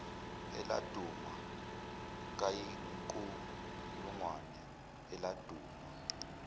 eladuma kayinkulungwane eladuma